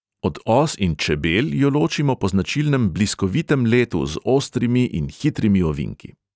Od os in čebel jo ločimo po značilnem bliskovitem letu z ostrimi in hitrimi ovinki.